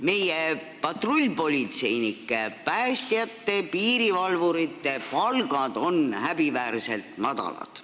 Meie patrullpolitseinike, päästjate ja piirivalvurite palgad on häbiväärselt madalad.